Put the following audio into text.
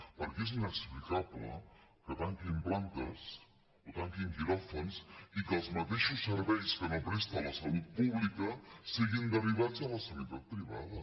perquè és inexplicable que tanquin plantes o tanquin quiròfans i que els mateixos serveis que no presta la salut pública siguin derivats a la sanitat privada